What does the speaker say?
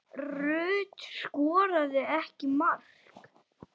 Rut skoraði ekki mark.